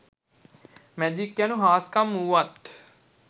magic යනු හාස්කම් වුවත්